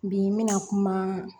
Bi n bɛna kuma